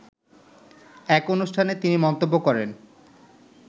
এক অনুষ্ঠানে তিনি মন্তব্য করেন